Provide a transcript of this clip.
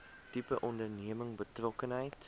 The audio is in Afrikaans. tipe onderneming betrokkenheid